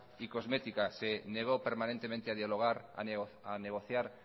y cosmética se negó permanentemente a dialogar a negociar